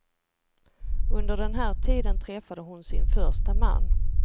Under den här tiden träffade hon sin första man.